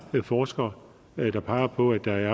forskere der peger på at der